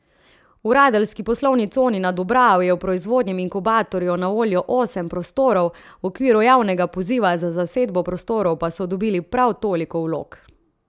V radeljski poslovni coni na Dobravi je v proizvodnem inkubatorju na voljo osem prostorov, v okviru javnega poziva za zasedbo prostorov pa so dobili prav toliko vlog.